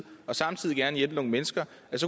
samtidig gerne vil hjælpe nogle mennesker